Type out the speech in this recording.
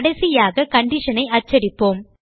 கடைசியாக condition ஐ அச்சடிப்போம்